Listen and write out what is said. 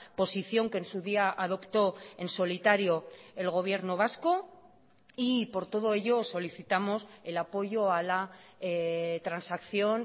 posición que en su día adoptó en solitario el gobierno vasco y por todo ello solicitamos el apoyo a la transacción